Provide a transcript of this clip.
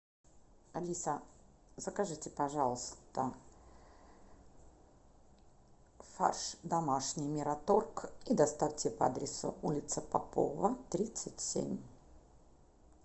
алиса закажите пожалуйста фарш домашний мираторг и доставьте по адресу улица попова тридцать семь